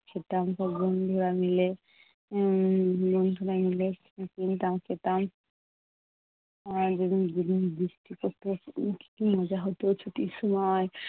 উম খেতাম বন্ধুরা মিলে। উম বন্ধুরা মিলে কিনতাম খেতাম। যেদিন যেদিন বৃষ্টি পড়তো সেদিনকে কী মজা হতো ছুটির সময়।